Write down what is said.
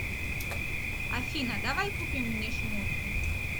афина давай купим мне шмотки